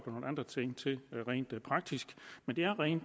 nogle andre ting til rent praktisk men det er ren